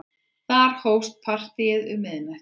Þar hófst partíið um miðnætti.